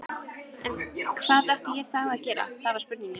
En hvað átti ég þá að gera, það var spurningin.